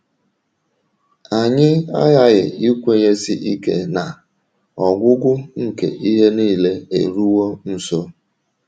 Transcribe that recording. Anyị aghaghị ikwenyesi ike na “ ọgwụgwụ nke ihe nile eruwo nso. ”